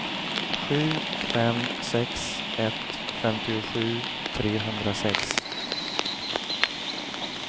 sju fem sex ett femtiosju trehundrasex